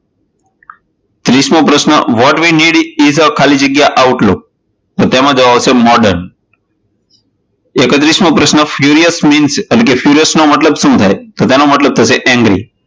ત્રીસમો પ્રશ્ન what we need ખાલી જગ્યા outlook તો તેમાં જવાબ આવશે modern. એકત્રીસમો પ્રશ્ન એટલે કે furious means નો મતલબ શું થાય? તો તેનો મતલબ થશે angry.